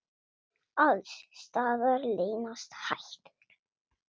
Alls staðar leynast hættur.